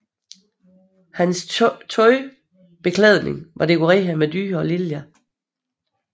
Hans beklædning var dekoreret med dyr og liljer